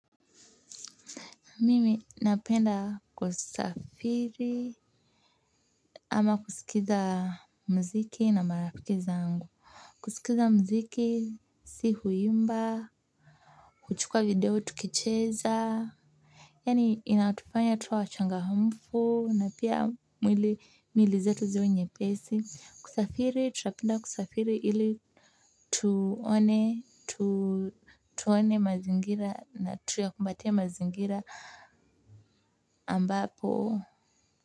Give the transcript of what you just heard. Mimi napenda kusafiri ama kusikiza muziki na marafiki zangu. Kusikiza muziki si huimba, kuchukua video tukicheza. Yaani inatufanya tuwe wachangamfu na pia miili zetu ziwe nyepesi. Kusafiri, tunapenda kusafiri ili tuone mazingira na tuyakumbatie mazingira ambapo.